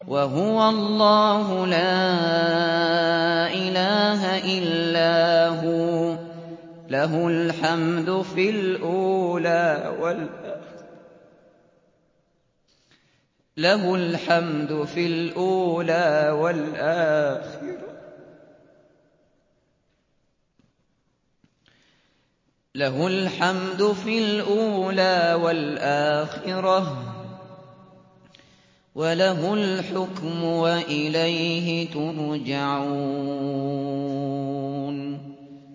وَهُوَ اللَّهُ لَا إِلَٰهَ إِلَّا هُوَ ۖ لَهُ الْحَمْدُ فِي الْأُولَىٰ وَالْآخِرَةِ ۖ وَلَهُ الْحُكْمُ وَإِلَيْهِ تُرْجَعُونَ